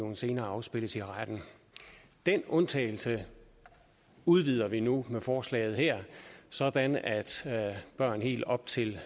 kan senere afspilles i retten den undtagelse udvider vi nu med forslaget her sådan at børn helt op til